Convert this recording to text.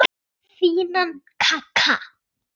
Fínan kagga!